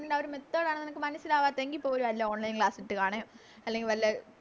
ആ ഒരു Method ആണ് നിനക്ക് മനസ്സിലാവാത്തെങ്കി പോലും വല്ല Online class ഇട്ട് കാണെ അല്ലെങ്കി വല്ലെ